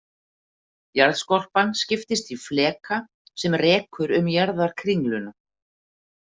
Jarðskorpan skiptist í fleka sem rekur um jarðarkringluna.